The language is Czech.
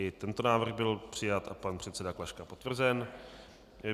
I tento návrh byl přijat a pan předseda Klaška potvrzen.